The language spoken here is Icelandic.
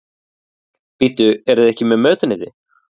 Kristján: Bíddu, eruð þið ekki með mötuneyti?